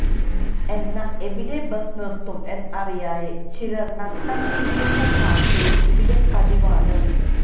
എന്നാൽ എവിടെ ബസ് നിർത്തും എന്നറിയായെ ചിലർ നട്ടം തിരിയുന്ന കാഴ്ച്ചയും ഇവിടെ പതിവാണ്